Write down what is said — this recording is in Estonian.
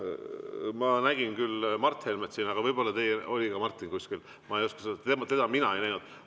Ma nägin siin küll Mart Helmet, aga võib-olla oli ka Martin kuskil, teda mina ei näinud.